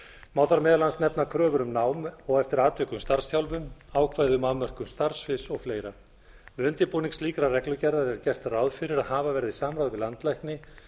má þar meðal annars nefna kröfur um nám og eftir atvikum starfsþjálfun ákvæði um afmörkun starfssviðs og fleira við undirbúning slíkrar reglugerðar er gert ráð fyrir að hafa verði samráð við landlækni